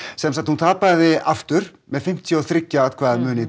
sem sagt hún tapaði með fimmtíu og þriggja atkvæða mun í